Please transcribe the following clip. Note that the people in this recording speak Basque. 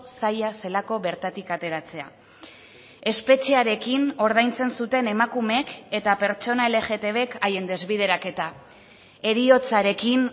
zaila zelako bertatik ateratzea espetxearekin ordaintzen zuten emakumeek eta pertsona lgtbk haien desbideraketa heriotzarekin